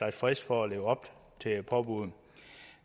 en frist for at leve op til påbuddet